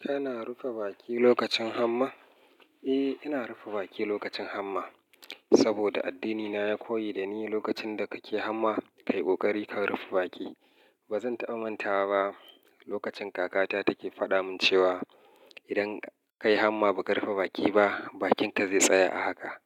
Kana rufe baki lokacin hamma? Eh, ina rufe baki lokacin hamma. Saboda addinina ya koyi da ni lokacin da kake hamma, ka yi ƙoƙari ka rufe baki. Ba zan taba mantawa ba lokacin kakata take faɗa min cewa idan ka yi hamma ba ka rufe baki ba, bakinka zai tsaya a haka.